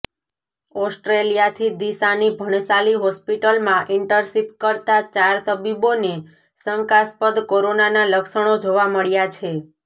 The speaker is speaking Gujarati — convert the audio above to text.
ઓસ્ટ્રેલિયાથી ડીસાની ભણસાલી હોસ્પિટલમાં ઇન્ટરશીપ કરતા ચાર તબીબોને શંકાસ્પદ કોરોનાના લક્ષણો જોવા મળ્યા છે